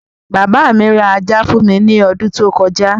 Bàbá mi ra ajá fún mi ní odún tó kọjá.